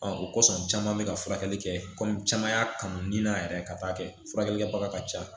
o kosɔn caman bɛ ka furakɛli kɛ kɔmi caman y'a kanu ni na yɛrɛ ka taa kɛ furakɛli kɛbaga ka ca